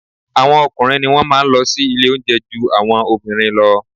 Àwọn ọkùnrin ni wọ́n má a nlọ sí ilé oúnjẹ ju àwọn obìnrin lọ